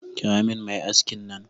Kira min mai aski nan.